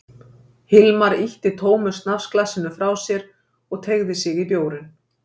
Hilmar ýtti tómu snafsglasinu frá sér og teygði sig í bjórinn.